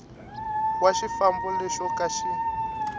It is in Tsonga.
wa xifambo lexo ka xi